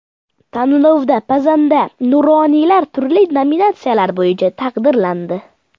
Tanlovda pazanda nuroniylar turli nominatsiyalar bo‘yicha taqdirlandi.